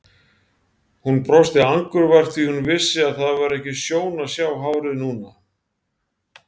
Hún brosti angurvært því hún vissi að það var ekki sjón að sjá hárið núna!